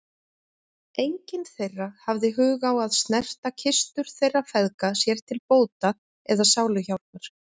Enginn þeirra hafði hug á að snerta kistur þeirra feðga sér til bóta eða sáluhjálpar.